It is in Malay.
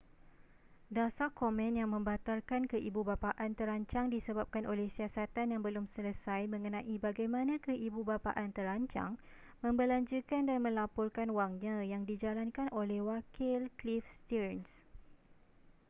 dasar komen yang membatalkan keibubapaan terancang disebabkan oleh siasatan yang belum selesai mengenai bagaimana keibubapaan terancang membelanjakan dan melaporkan wangnya yang dijalankan oleh wakil cliff stearns